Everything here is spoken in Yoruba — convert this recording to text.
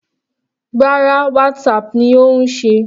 Rárá, Whatsapp ni ó ń ṣe.